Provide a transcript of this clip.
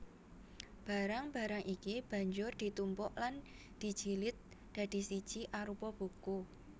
Barang barang iki banjur ditumpuk lan dijilid dadi siji arupa buku